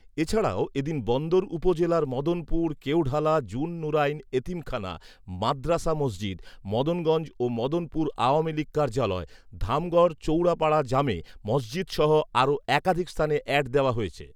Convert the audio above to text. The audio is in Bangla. এছাড়াও এদিন বন্দর উপজেলার মদনপুর কেওঢালা জুন নুরাইন এতিমখানা মাদ্রাসা মসজিদ, মদনগঞ্জ ও মদনপুর আওয়ামীলীগ কার্যালয়, ধামগড় চৌরাপাড়া জামে মসজিদসহ আরো একাধিক স্থানে অ্যাড দেওয়া হয়েছে